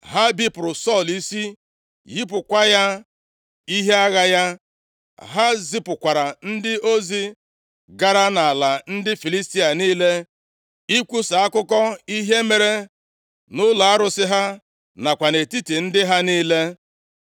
Ha bipụrụ Sọl isi, yipụkwa ya ihe agha ya. Ha zipụkwara ndị ozi gara nʼala ndị Filistia niile ikwusa akụkọ ihe mere nʼụlọ arụsị ha nakwa nʼetiti ndị ha niile. + 31:9 \+xt Nkp 16:23-24; 2Sa 1:20\+xt*